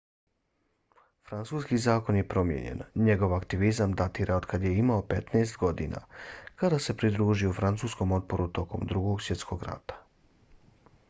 francuski zakon je promijenjen. njegov aktivizam datira otkad je imao 15. godina kada se pridružio francuskom otporu tokom drugog svjetskog rata